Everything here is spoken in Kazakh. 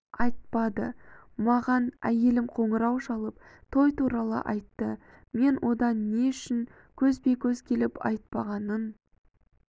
айтпады маған әйелім қоңырау шалып той туралы айтты мен одан не үшін көзбе-көз келіп айтпағанын